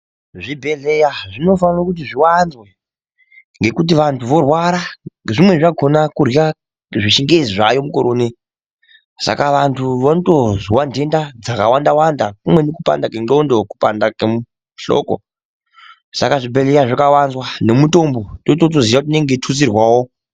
Zvibhedhleya zvinofana kuti zviwanzwe ngekuti vanthu vorwara zvimweni zvakona kurya zvechingezi zvaayo mukoro unei saka vanthu vondozwa ndenda dzakawanda wanda kumweni kupanda kwendxondo kupanda kwehloko saka zvibhedhleya zvikawanzwa nemitombo tototoziya kuti inenge yeitutsirwao.